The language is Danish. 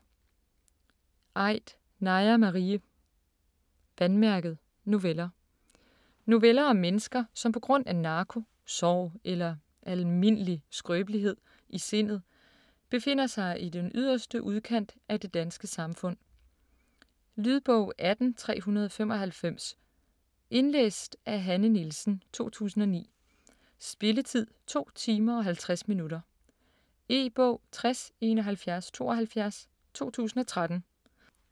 Aidt, Naja Marie: Vandmærket: noveller Noveller om mennesker, som på grund af narko, sorg eller "almindelig" skrøbelighed i sindet befinder sig i den yderste udkant af det danske samfund. Lydbog 18395 Indlæst af Hanne Nielsen, 2009. Spilletid: 2 timer, 50 minutter. E-bog 607172 2013.